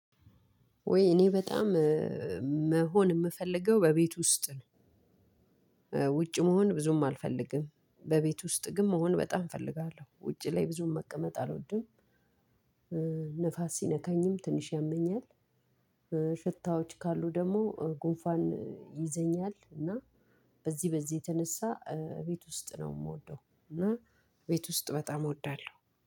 ወይ እኔ በጣም መሆን የምፈልገው በቤት ውስጥ ነው። ውጭ መሆን ብዙም አልፈልግም በቤት ውስጥ ግን መሆን በጣም እፈልጋለሁ ውጭ ላይ ብዙም መቀመጥ አልወድም። ሲነካኝም ትንሽ ያመኛል። ሽታዎች ካሉ ደግሞ ጉንፋን ይይዘኛል እና በዚህ በዚህ የተነሳ ቤት ውስጥ ነው የምወደው። እና ቤት ውስጥ በጣም እወዳለሁ